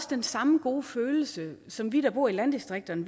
den samme gode følelse som vi der bor i landdistrikterne